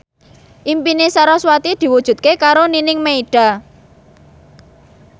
impine sarasvati diwujudke karo Nining Meida